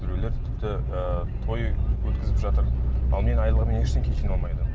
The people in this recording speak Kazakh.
біреулер тіпті ыыы той өткізіп жатыр ал менің айлығыммен ештеңе жиналмайды